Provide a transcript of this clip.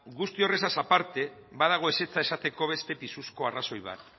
guzti horrez aparte badago ezetza esateko pisuzko arrazoi bat